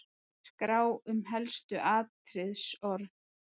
Skrá um helstu atriðisorð